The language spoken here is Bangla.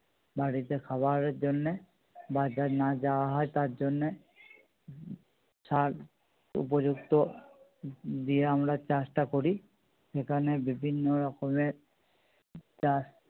বাড়িতে খাবারের জন্যে বাজার না যাওয়া হয় তার জন্যে উম শাক উপযুক্ত দিয়ে আমরা চাষটা করি সেখানে বিভিন্ন রকমের চাষ